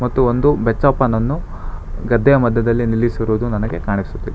ಇದು ಒಂದು ಬೆಚ್ಚಪ್ಪನನ್ನು ಗದ್ದೆಯ ಮಧ್ಯದಲ್ಲಿ ನಿಲ್ಲಿಸಿರುವುದು ನನಗೆ ಕಾಣಿಸುತ್ತಿದೆ.